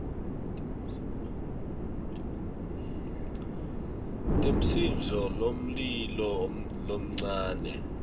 temsindvo wemlilo lomncane